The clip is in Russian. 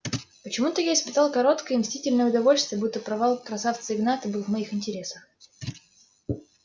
почему-то я испытал короткое и мстительное удовольствие будто провал красавца игната был в моих интересах